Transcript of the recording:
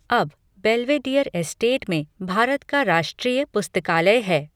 अब, Belvedere estate में भारत का राष्ट्रीय पुस्तकालय है।